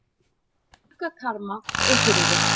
Gluggakarma og hurðir.